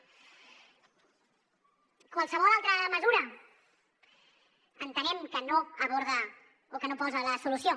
qualsevol altra mesura entenem que no aborda o que no posa la solució